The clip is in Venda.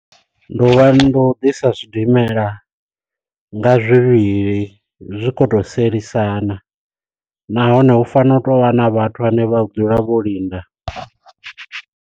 Ndi u lwa ndi u ḓisa zwidimela nga zwivhili zwi khou tou sielisana nahone hu fanela u tou vha na vhathu vhane vha dzula vho linda.